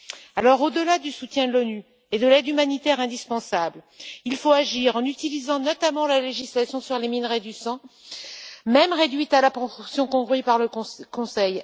Alors, au delà du soutien de l'ONU et de l'aide humanitaire indispensable, il faut agir en utilisant notamment la législation sur les minerais du sang, même réduite à la portion congrue par le Conseil.